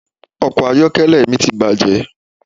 Ọkọ̀ ayọ́kẹ́lẹ́ mi ti bàjé